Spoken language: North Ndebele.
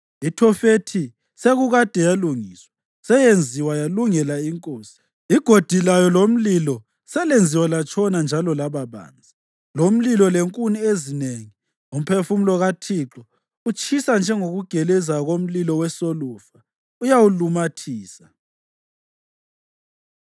IThofethi sekukade yalungiswa; seyenziwa yalungela inkosi. Igodi layo lomlilo selenziwa latshona njalo laba banzi, lomlilo lenkuni ezinengi; umphefumulo kaThixo, utshisa njengokugeleza komlilo wesolufa, uyawulumathisa.